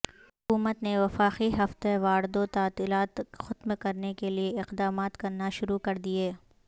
حکومت نے وفاقی ہفتہ واردوتعطیلات ختم کرنے کیلئے اقدامات کرنا شروع کردیئے